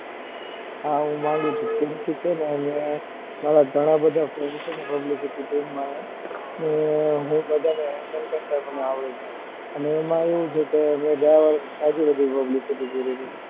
હા હું માંગું છુ કેમકે છે ને મારા ઘણા બધા friendspublicity team માં છે ને હું બધા ને hendle કરતા આવડે છે અને ગયા વર્ષ ખાસી બધી publicity કરી છે.